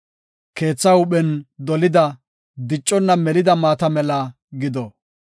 Keetha huuphen dolida, dicconna melida maata mela gido.